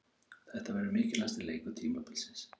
Þetta verður mikilvægasti leikur tímabilsins.